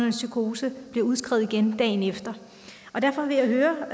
en psykose bliver udskrevet igen dagen efter derfor vil jeg høre